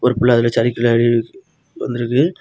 புள்ள அதுல சறுக்கி விளயாடி வந்திருக்கு.